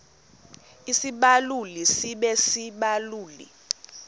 isibaluli sibe sisibaluli